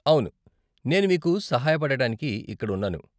అవును, నేను మీకు సహాయపడటానికి ఇక్కడ ఉన్నాను.